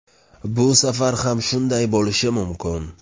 Bu safar ham shunday bo‘lishi mumkin.